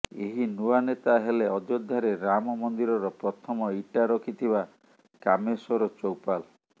ଏହି ନୂଆ ନେତା ହେଲେ ଅଯୋଧ୍ୟାରେ ରାମ ମନ୍ଦିରର ପ୍ରଥମ ଇଟା ରଖିଥିବା କାମେଶ୍ୱର ଚୌପାଲ